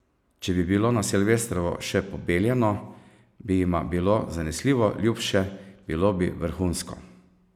Če bi bilo na silvestrovo še pobeljeno, bi jima bilo zanesljivo ljubše, bilo bi vrhunsko!